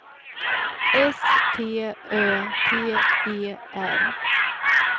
S T Ö T E R